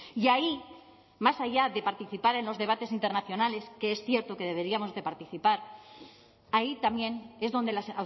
y ahí más allá de participar en los debates internacionales que es cierto que deberíamos de participar ahí también es donde las